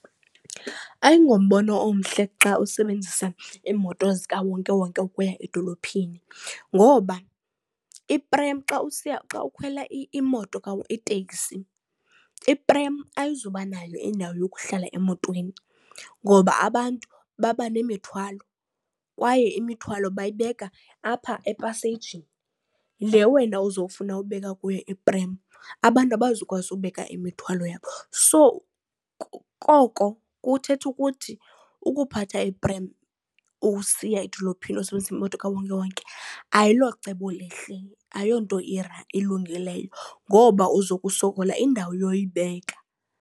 Ayingombono omhle xa usebenzisa iimoto zikawonke-wonke ukuya edolophini ngoba iprem xa usiya, xa ukhwela iteksi, iprem ayizubanayo indawo yokuhlala emotweni ngoba abantu baba nemithwalo kwaye imithwalo bayibeka apha epaseyijini le wena uzowufuna ubeka kuyo iprem. Abantu abazukwazi ukubeka imithwalo yabo. So, koko kuthetha ukuthi ukuphatha iprem usiya edolophini usebenza imoto kawonke-wonke ayilocebo lihle, ayonto ilungileyo ngoba uza kusokola indawo yokuyibeka.